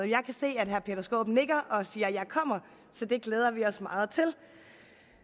jeg kan se at herre peter skaarup nikker og siger jeg kommer så det glæder vi os meget til